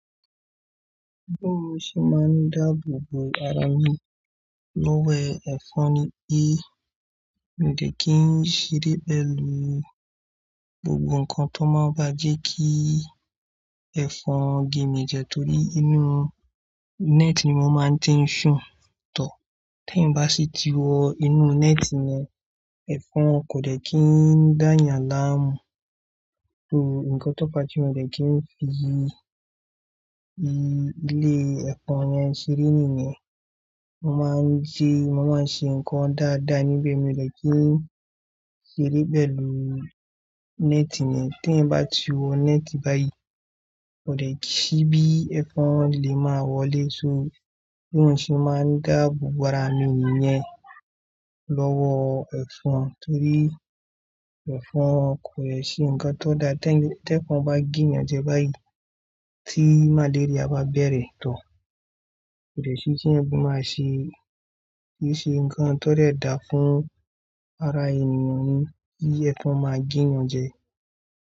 Bí mò ń ṣe máa ń dáàbò bò ara mi lọ́wọ́ ẹ̀fọn ni pé, mi ò dè kí n ṣeré pẹ̀lú gbogbo nǹkan tó máa n bá jẹ́ kí ẹ̀fọn ge mi jẹ torí inú net ni mo máa ń ti ń ṣùn tó. T'ẹ́eyan bá sì ti wọ inú net yen, ẹ̀fọn kò dè kí ń dáayàn láàmú. So nǹkan tó fá ti mi ò dè kí ń fi i, i ilé ẹ̀fọn yẹn ṣeré nìyẹn. Mo máa ń jẹ́, mo máa ń ṣe nǹkan dáadáa níbẹ̀. Mi ò dè kí ń ṣeré pẹ̀lú net ni. T'ẹ́eyan bá ti wọ net báyìí, kò dè ṣíbí, ẹ̀fọn lè máa wọlé. So bí mò ń ṣe máa ń dáàbò bò ara mi nìyẹn lọ́wọ́ ẹ̀fọn torí ẹ̀fọn kò dè ṣe nǹkan tó dá. Tẹ́ ì, tẹ́ ẹ̀fọn bá ge eeyan jẹ báyìí, tí màléríà bá bẹ̀rẹ̀ tó, kò dè ṣi ti eeyan ba màá ṣe, kií ṣe nǹkan tó dè dáa fún ara ènìyàn ni kí ẹ̀fọn máa ge eeyan jẹ.